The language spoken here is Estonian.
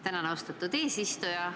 Tänan, austatud eesistuja!